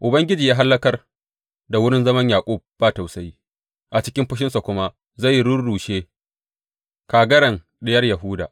Ubangiji ya hallakar da wurin zaman Yaƙub ba tausayi; A cikin fushinsa kuma zai rurrushe kagaran Diyar Yahuda.